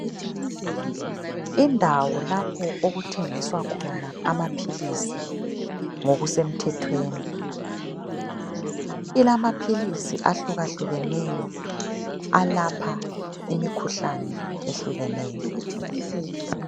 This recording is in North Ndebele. Indawo lapho okuthengiswa khona amaphilisi ngokusemthethweni. Ilamaphilisi ahlukahlukeneyo alapha imikhuhlane ehlukeneyo.